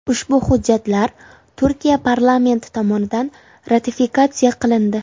Ushbu hujjatlar Turkiya parlamenti tomonidan ratifikatsiya qilindi .